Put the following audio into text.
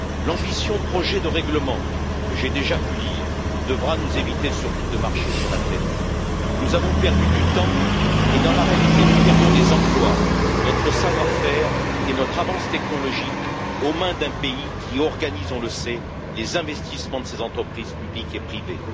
L'ambitieux projet de règlement, que j'ai déjà pu lire, devra nous éviter surtout de marcher sur la tête. Nous avons perdu du temps et, dans la réalité, nous perdons des emplois, notre savoir faire et notre avance technologique aux mains d'un pays qui organise, on le sait, les investissements de ses entreprises publiques et privées.